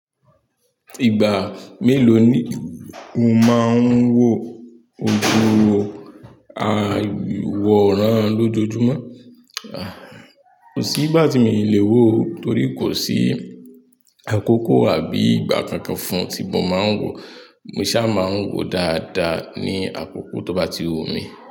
Ìgbà mélòó ni mo máa ń wo ojú awọ̀ran lójoojúmọ́? Kosi ìgbà tí mi ò lè wo ó, torí kò sí àkókò àbí ìgbà kankan fún tí mo máa ń wo. Mo ṣa máa ń wò dáadáa ní àkókò tó bá ti wù mí.